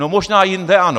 No možná jinde ano.